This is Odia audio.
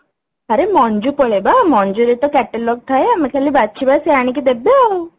ଆରେ Man ପଳେଇବା Man ରେ ତ Catalogue ଥାଏ ଆଏମେ ଖାଲି ବାଛିବା ସେ ଆଣିକି ଦେବେ ଆଉ